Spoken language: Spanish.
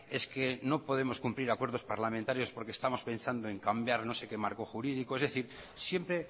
es que no podemos cumplir acuerdos parlamentarios porque estamos pensando en cambiar no sé qué marco jurídico es decir siempre